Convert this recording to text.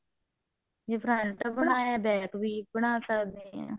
ਜੇ front ਬਣਾਇਆ back ਵੀ ਬਣਾ ਸਕਦੇ ਹਾਂ